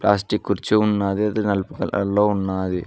Last కి కుర్చీ ఉన్నాది అది నలుపు కలర్ లో ఉన్నాది.